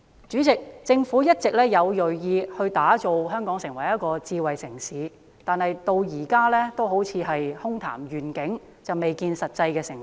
主席，政府一直銳意把香港打造成智慧城市，但至今仍好像空談願景，未見實際成果。